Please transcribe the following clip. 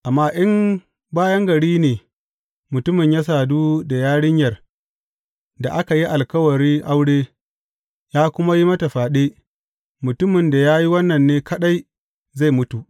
Amma in a bayan gari ne mutumin ya sadu da yarinyar da aka yi alkawari aure, ya kuma yi mata fyaɗe, mutumin da ya yi wannan ne kaɗai zai mutu.